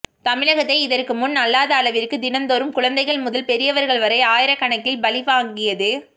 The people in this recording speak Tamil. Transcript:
தமிழகத்தை இதற்கு முன் அல்லாத அளவிற்கு தினந்தோறும் குழந்தைகள் முதல் பெரியவர்கள் வரை ஆயிரக்கணக்கில் பலி வாங்கியது